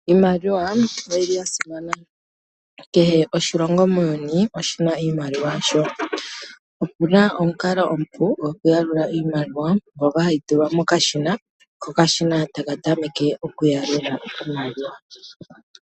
Iimaliwa oyili ya simana. Kehe oshilongo muuyuni oshina iimaliwa yasho. Opu na omukalo omupu gokuyalula iimaliwa ngoka hayi tulwa mokashina, ko okashina taka tameke okuyalula iimaliwa.